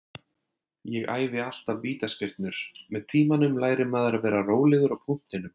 Ég æfi alltaf vítaspyrnur, með tímanum lærir maður að vera rólegur á punktinum.